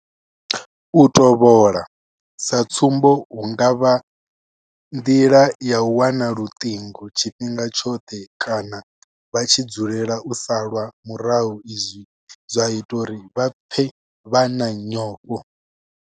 U tovhola, sa tsumbo hu nga vha nḓila ya u wana luṱingo tshifhinga tshoṱhe kana vha tshi dzulela u salwa murahu zwa ita uri vha pfe vha na nyofho.